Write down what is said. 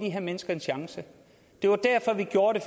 her mennesker en chance det var derfor vi gjorde det